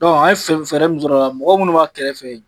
an ye fɛn fɛɛrɛ min sɔrɔ a la mɔgɔ munnu b'a kɛrɛfɛ yen